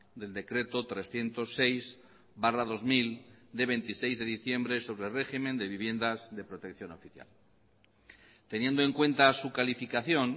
del decreto trescientos seis barra dos mil de veintiséis de diciembre sobre régimen de viviendas de protección oficial teniendo en cuenta su calificación